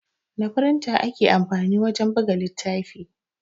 Da firinta ake amfani wajen buga littafi